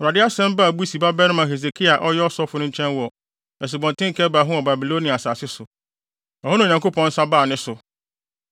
Awurade asɛm baa Busi babarima Hesekiel a ɔyɛ ɔsɔfo no nkyɛn wɔ Asubɔnten Kebar ho wɔ Babilonia asase so. Ɛhɔ na Onyankopɔn nsa baa ne so.